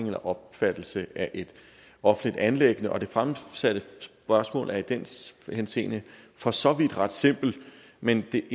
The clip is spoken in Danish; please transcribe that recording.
eller opfattelse af et offentligt anliggende og det fremsatte spørgsmål er i den henseende for så vidt ret simpelt men det